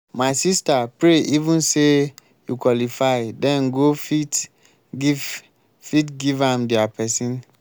my sister pray even say you qualify den go fit give fit give am their person.